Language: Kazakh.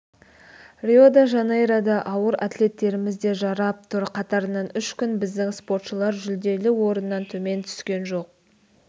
рио-де-жанейрода ауыр атлеттеріміз де жарап тұр қатарынан үшінші күн біздің спортшылар жүлделі орыннан төмен түскен жоқ